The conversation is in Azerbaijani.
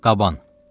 Qaban.